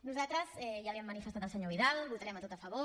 nosaltres ja li hem manifestat al senyor vidal votarem a tot a favor